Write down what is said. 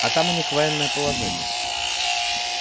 а там у них военное положение